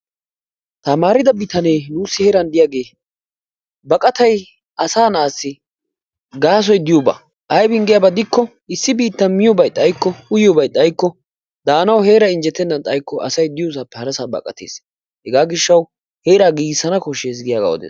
taamaridaa bitanee nuusi heeran diyaagee baqqatay asaa naasi gaasoy diyooba. aybin giyaaba gidikko issi biittan miyoobay xaykko uyiyooobay xaayikko daanawu heeray injjetenan xaayikko asay issi heerappe hara heeraa baqattees. hegaa gidiyoo giishaw asay de'iyoo heeraa giigisanaagaa odees.